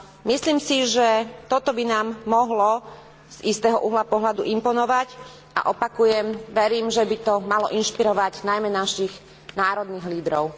Myslím si, že toto by nám mohlo z istého uhla pohľadu imponovať a opakujem, verím, že by to malo inšpirovať najmä našich národných lídrov.